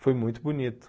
Foi muito bonito.